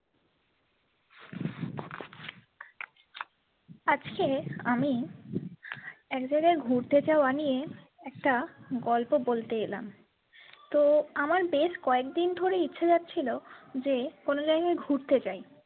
আজকে আমি একজনের ঘুরতে যাওয়া নিয়ে একটা গল্প বলতে এলাম তো আমার বেশ কয়েকদিন ধরেই ইচ্ছা যাচ্ছিলো যে কোনো জায়গায় ঘুরতে যায়।